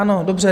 Ano, dobře.